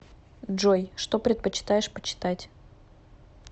джой что предпочитаешь почитать